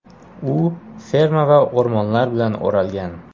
U ferma va o‘rmonlar bilan o‘ralgan.